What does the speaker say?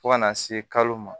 Fo ka na se kalo ma